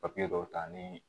dɔw ta ni